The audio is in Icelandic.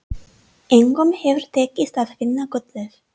Engum hefur tekist að finna gullið.